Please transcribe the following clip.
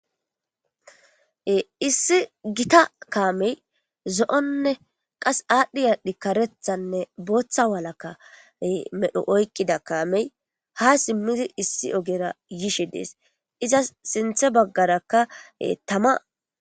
Issi gita kaamey zo'onne qas aadhdhi aadhdhi karethanne booththa walakka medho oykqida kaamey ha simmidi issi ogera yishe dees iza sinthe baggarakka tama.